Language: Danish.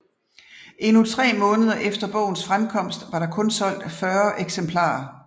Endnu tre måneder efter bogens fremkomst var der kun solgt 40 eksemplarer